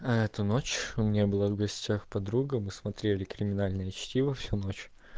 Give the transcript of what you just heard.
а эту ночь у меня была в гостях подруга мы смотрели криминальное чтиво всю ночь